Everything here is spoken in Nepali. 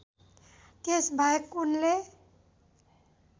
त्यसबाहेक उनले